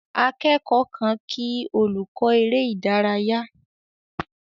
Akẹ́kọ̀ọ́ kan kí olùkọ́ eré ìdárayá.